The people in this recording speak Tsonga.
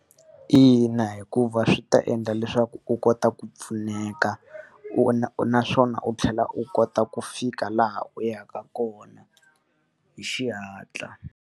Ina, hikuva swi ta endla leswaku u kota ku pfuneka, u naswona u tlhela u kota ku fika laha u yaka kona hi xihatla.